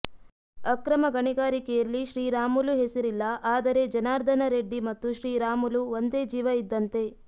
ಅಕ್ರಮ ಗಣಿಗಾರಿಕೆಯಲ್ಲಿ ಶ್ರೀ ರಾಮುಲು ಹೆಸರಿಲ್ಲ ಆದರೆ ಜನಾರ್ದನ ರೆಡ್ಡಿ ಮತ್ತು ಶ್ರೀ ರಾಮುಲು ಒಂದೇ ಜೀವ ಇದ್ದಂತೆ